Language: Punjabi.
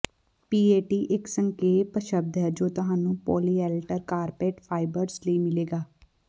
ਪੀਏਟੀ ਇਕ ਸੰਖੇਪ ਸ਼ਬਦ ਹੈ ਜੋ ਤੁਹਾਨੂੰ ਪੋਲੀਐਲਟਰ ਕਾਰਪੈਟ ਫਾਈਬਰਜ਼ ਲਈ ਮਿਲੇਗਾ